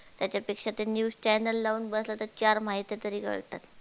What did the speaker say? त्याच्यापेक्षा ते news channel लावून बसलं तर चार माहित्या तरी कळतात.